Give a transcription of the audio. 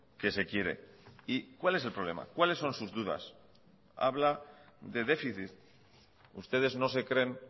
que se quiere y cuál es el problema cuáles son sus dudas habla de déficit ustedes no se creen